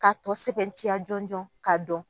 K'a tɔ sɛbɛntiya jɔn jɔn k'a dɔn.